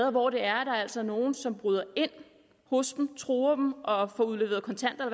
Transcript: og hvor der altså er nogen som bryder ind hos dem truer dem og får udleveret kontanter